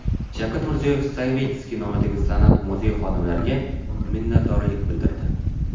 Shavkat Mirziyoyev Savitskiy nomidagi san’at muzeyi xodimlariga minnatdorlik bildirdi.